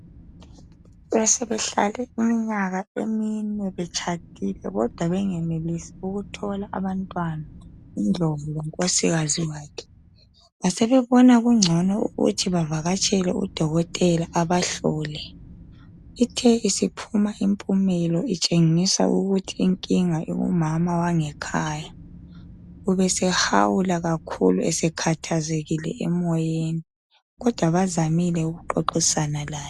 Besebehlele imnyaka enine betshadil kodwa bengenelisi ukuthola abantwana uNdlovu lonkosikazi wakhe basebebona kingcono ukuthi bavakatshele udokotela ebahlole, ithe isiphuma impumelo itshengisa ukuthi inkinga ikumama wangekhaya ubesehawula kakhulu sekhathazekile emoyeni kodwa bazamile ukuxoxisana laye.